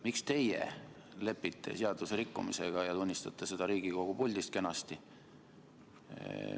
Miks teie lepite seaduserikkumisega ja tunnistate seda kenasti Riigikogu puldist?